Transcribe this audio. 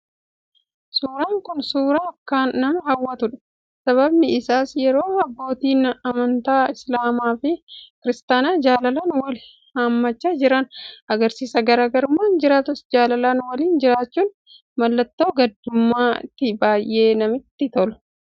Suuraan kun suuraa akkaan nama hawwatuu dha. Sababni isaas yeroo abbootiin amantaa Islaamaa fi Kiristaanaa jaalalaan wal hammachaa jiran agarsiisa. Garaagarummaan jiraatus jaalalaan waliin jiraachuun mallattoo guddummaa ti. baay'ee namatti tolu.